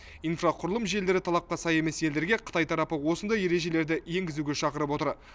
инфрақұрылым желілері талапқа сай емес елдерге қытай тарапы осындай ережелерді енгізуге шақырып отыр